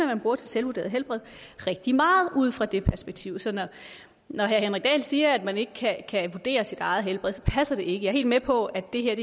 man bruger til selvvurderet helbred rigtig meget ud fra det perspektiv så når herre henrik dahl siger at man ikke kan vurdere sit eget helbred passer det ikke jeg er helt med på at det jeg